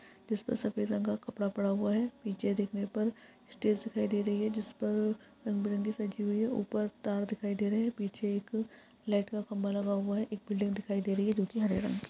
जिसपे सफेद रंग का कपड़ा पड़ा हुआ है पीछे देखने पर स्टेज दिखाई दे रही है जिस पर रंग बिरंगी सजी हुई है ऊपर तार दिखाई दे रहा है पीछे एक लाइट का खम्बा लगा हुआ है एक बिल्डिंग दिखाई दे रही है जो के हरे रंग की --